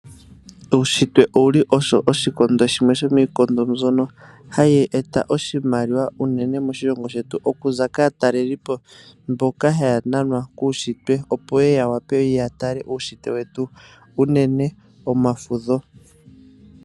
Uushitwe oshikondo shimwe sho miikondo mbyono hayi eta oshimaliwa moshilongo shetu unene okuza kaatalelipo mboka haya nanwa kuushitwe wetu unene pomafudho.